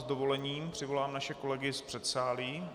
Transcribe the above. S dovolením přivolám naše kolegy z předsálí.